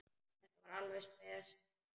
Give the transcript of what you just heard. Þetta var alveg spes móment.